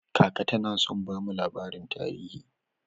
Kaka tana son bamu labarin tarihi.